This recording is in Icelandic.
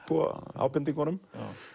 ábendingunum